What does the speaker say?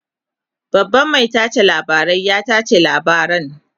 babban Mai tace labarai ya tace labaran